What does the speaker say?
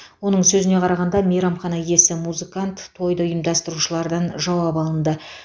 оның сөзіне қарағанда мейрамхана иесі музыкант тойды ұйымдастырушылардан жауап алынды